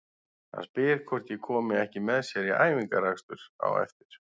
Hann spyr hvort ég komi ekki með sér í æfingaakstur á eftir.